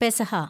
പെസഹ